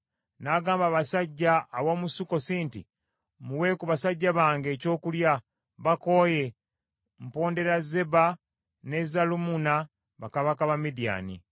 N’agamba abasajja ab’omu Sukkosi nti, “Muwe ku basajja bange, ekyokulya, bakooye. Mpondera Zeba ne Zalumunna bakabaka ba Midiyaani.”